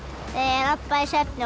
labbaði í svefni